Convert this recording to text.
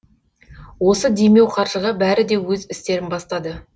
осы демеу қаржыға бәрі де өз істерін бастады